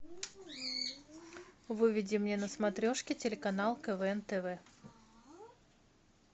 выведи мне на смотрешке телеканал квн тв